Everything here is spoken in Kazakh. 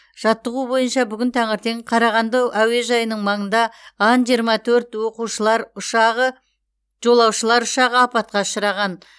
жаттығу бойынша бүгін таңертең қарағанды әуежайының маңында ан жиырма төрт оқушылар ұшағы жолаушылар ұшағы апатқа ұшыраған